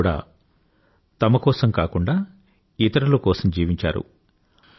వారంతా కూడా తమ తమ కోసం కాకుండా ఇతరుల కోసం జీవించారు